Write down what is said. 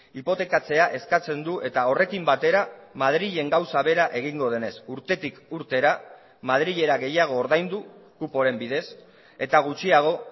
hipotekatzea eskatzen du eta horrekin batera madrilen gauza bera egingo denez urtetik urtera madrilera gehiago ordaindu kuporen bidez eta gutxiago